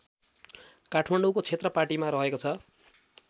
काठमाडौँको क्षेत्रपाटीमा रहेको छ